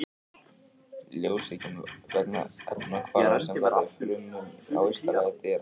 Ljósið kemur vegna efnahvarfa sem verða í frumum á ysta lagi dýranna.